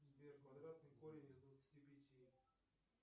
сбер квадратный корень из двадцати пяти